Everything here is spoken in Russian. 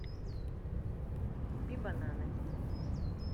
купи бананы